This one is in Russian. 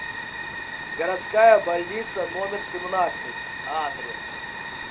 городская больница номер семнадцать адрес